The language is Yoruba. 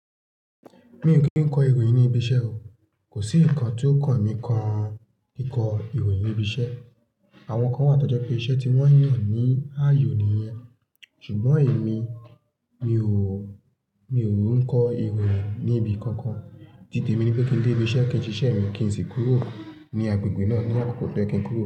Mi ò kí ń kọ ìròyìn ní ibi iṣẹ́ o. Kò sí nǹkan tí ó kàn mí kan kíkọ ìròyìn ibi iṣẹ́. Àwọn kán wà tó jẹ́ pé iṣẹ́ tí wọ́n yàn ní ààyò nìyẹn. Ṣùgbọ́n èmi, mi ò, mi ò ń kọ ìròyìn ní ibi kankan. Titè mi ní pé kí n dé ibi iṣẹ́ kí n ṣe iṣẹ́ mi kí n sì kúrò ní agbègbè náà ní àkókò tó yẹ kí n kúrò.